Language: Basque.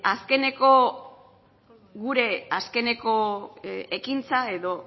gure azkeneko ekintza edo